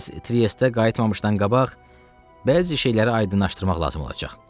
Siz Triestə qayıtmamışdan qabaq bəzi şeyləri aydınlaşdırmaq lazım olacaq.